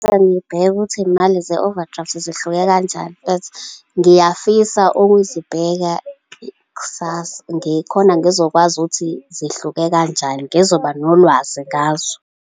Ngoqale ngibheke ukuthi iy'mali ze-overdraft zihluke kanjani, but ngiyafisa ukuzibheka kusasa, ngikhona ngizokwazi ukuthi zihluke kanjani, ngizoba nolwazi ngazo.